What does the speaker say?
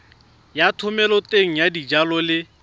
ya thomeloteng ya dijalo le